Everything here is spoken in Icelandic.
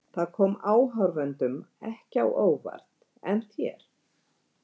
Það kom áhorfendum ekki á óvart en þér?